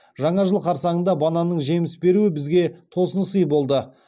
жаңа жыл қарсаңында бананның жеміс беруі бізге тосын сый болды